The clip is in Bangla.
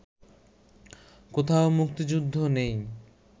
কোথাও মুক্তিযুদ্ধ নেই